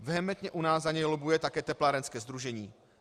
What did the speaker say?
Vehementně u nás za něj lobbuje také teplárenské sdružení.